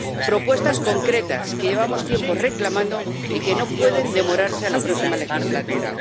Propuestas concretas que llevamos tiempo reclamando y que no pueden demorarse a la próxima legislatura.